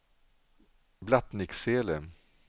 Blattnicksele